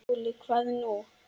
SKÚLI: Hvað nú?